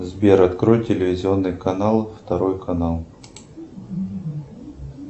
сбер открой телевизионный канал второй канал